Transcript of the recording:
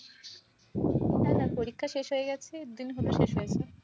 হ্যাঁ, হ্যাঁ পরীক্ষা শেষ হয়ে গেছে, দিন শেষ হয়েছে।